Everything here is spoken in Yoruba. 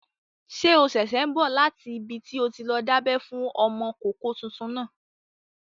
Ṣé o ṣẹ̀ṣẹ̀ n bọ̀ láti ibi tí o ti lọ dábẹ́ fún ọmọkọ́kọ́ tuntun náà?